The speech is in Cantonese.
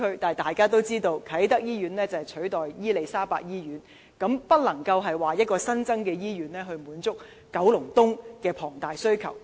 但大家也知道，啟德醫院是要取代伊利沙伯醫院，所以不能夠說區內將有一間新醫院，來滿足九龍東對醫療服務的龐大需求。